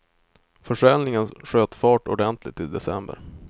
Försäljningen sköt fart ordentligt i december.